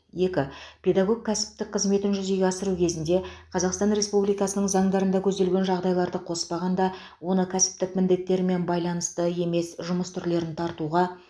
екі педагог кәсіптік қызметін жүзеге асыру кезінде қазақстан республикасының заңдарында көзделген жағдайларды қоспағанда оны кәсіптік міндеттерімен байланысты емес жұмыс түрлерін тартуға